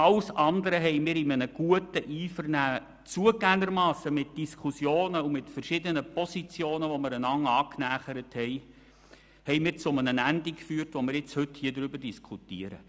Alles andere haben wir in einem guten Einvernehmen mit Diskussionen und verschiedenen Positionen, die wir einander angenähert haben, zu dem Ende geführt, das wir nun diskutieren.